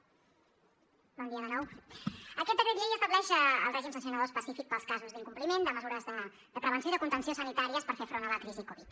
aquest decret llei estableix el règim sancionador específic per als casos d’incompliment de mesures de prevenció i de contenció sanitàries per fer front a la crisi covid